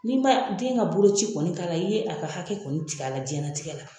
N'i man den ka boloci kɔni k'a la i ye a ka hakɛ kɔni tigɛ a la jiyɛn latigɛ la.